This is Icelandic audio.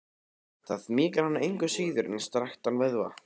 Það mýkir hana engu síður en strekktan vöðva.